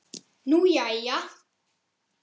Nú, jæja.